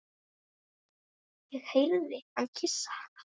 Ég heyrði hann kyssa hana.